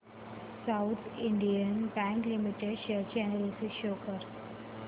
south Indian bank limited share analysis show कर